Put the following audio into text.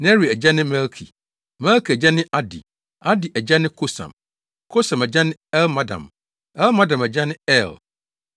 Neri agya ne Melki; Melki agya ne Adi; Adi agya ne Kosam; Kosam agya ne Elmadam; Elmadam agya ne Er;